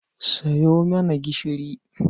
Sayo mana gishiri.